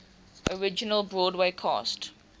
original broadway cast